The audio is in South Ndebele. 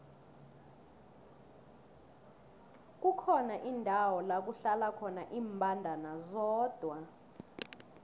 kukhona indawo lakuhlala khona imbandana zodwa